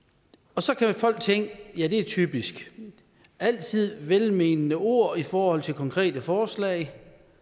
og så kan folk tænke at ja det er typisk altid velmenende ord i forhold til konkrete forslag